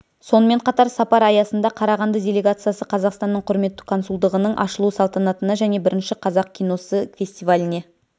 сонымен қатар сапар аясында қарағанды делегациясы қазақстанның құрметті консулдығының ашылу салтанатына және бірінші қазақ киносы фестиваліне